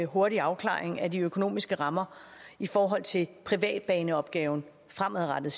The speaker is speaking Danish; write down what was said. hurtig afklaring af de økonomiske rammer i forhold til privatbaneopgaven fremadrettet